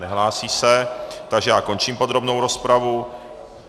Nehlásí se, takže já končím podrobnou rozpravu.